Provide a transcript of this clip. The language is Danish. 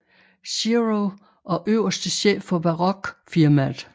Zero og øverste chef for Baroque firmaet